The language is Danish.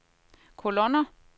kolonner